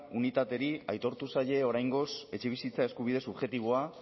unitateri aitortu zaie oraingoz etxebizitza eskubide subjektiboa